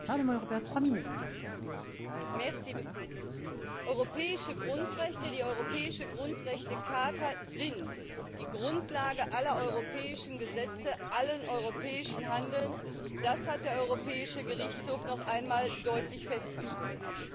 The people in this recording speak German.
Frau Präsidentin! Europäische Grundrechte, die europäische Grundrechtecharta, sind die Grundlage aller europäischen Gesetze, allen europäischen Handelns. Das hat der Europäische Gerichtshof noch einmal deutlich festgestellt.